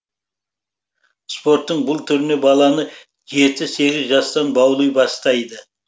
спорттың бұл түріне баланы жеті сегіз жастан баули бастайды